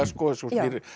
svo